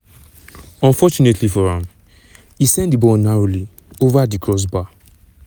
unfortunately for am e send di ball narrowly ova di crossbar.